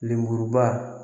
Lemuruba